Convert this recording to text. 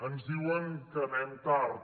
ens diuen que anem tard